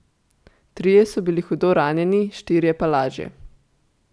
Trije so bili hudo ranjeni, štirje pa lažje.